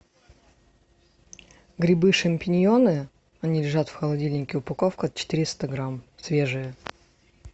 грибы шампиньоны они лежат в холодильнике упаковка четыреста грамм свежие